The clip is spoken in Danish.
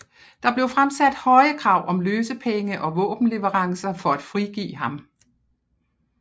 Der blev fremsat høje krav om løsepenge og våbenleverancer for at frigive ham